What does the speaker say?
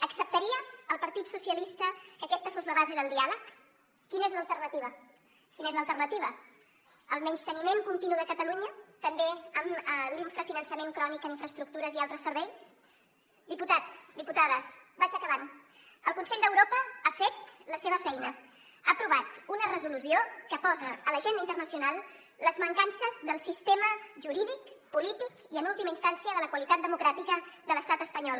acceptaria el partit socialista que aquesta fos la base del diàleg quina és l’alternativa quina és l’alternativa el menysteniment continu de catalunya també amb l’infrafinançament crònic en infraestructures i altres serveis diputats diputades vaig acabant el consell d’europa ha fet la seva feina ha aprovat una resolució que posa a l’agenda internacional les mancances del sistema jurídic polític i en última instància de la qualitat democràtica de l’estat espanyol